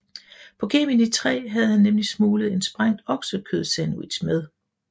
På Gemini 3 havde han nemlig smuglet en sprængt oksekødssandwich med